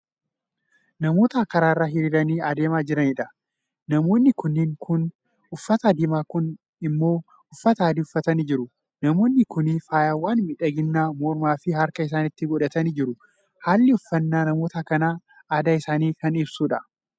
Namoota karaarra hiriiranii adeemaa jiraniidha. nqmoonni kunniin kuun uffata diimaa kuun immoo uffata adii uffatanii jiru. namoonni Kuni faayawwan miidhaginaa mormaafi harka isaanitti godhatanii jiru. halli uffannaa namoota kanaa aadaa isaanii Kan ibsuudha.